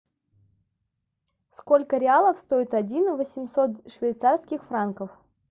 сколько реалов стоит один восемьсот швейцарских франков